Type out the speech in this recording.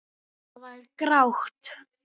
Það var grátt.